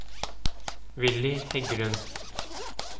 Willy Heggelund